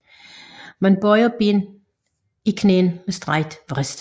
Man bøjer benene i knæene med strakt vrist